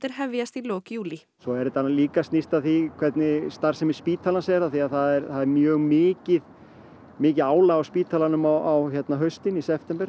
hefjist í lok júlí svo er þetta nú líka og snýst að því hvernig starfsemi spítalans er af því að það er mjög mikið mikið álag á spítalanum á haustin í september